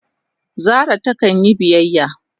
Zara ta kan yi biyyaya.